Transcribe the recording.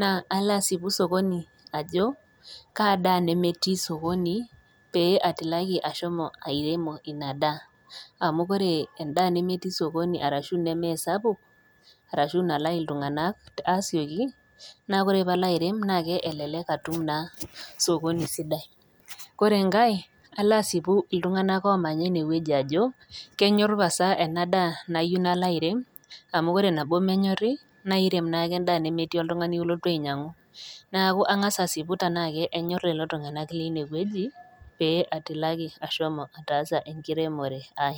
naa alo aasipu sokoni ajo Kaa daa nemetii sokoni pee atilaki ashomo airemo Ina daa, amu ore endaa nemetii sokoni arashu neme sapuk arashu naalayu iltung'ana aasioki, naa ore pee alo airem naa elelek atum naa sokoni sidai. Ore enkai, alo aasipu iltung'ana oomanya one wueji ajo, kenyor pasa ena daa nayiou nalo airem, amu ore nabo menyori naa irem naake endaa nemetii oltung'ani olotu ainyang'u. Neaku ang'as aasipu tanaake enyor lelo tung'ana leine wueji pee atilaki ashomo ataasa enkiremore ai.